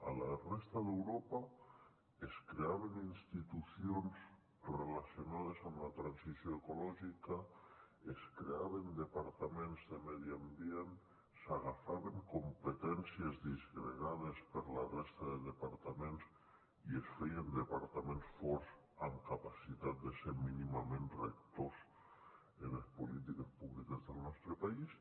a la resta d’europa es creaven institucions relacionades amb la transició ecològica es creaven departaments de medi ambient s’agafaven competències disgregades per la resta de departaments i es feien departaments forts amb capacitat de ser mínimament rectors en les polítiques públiques del nostre país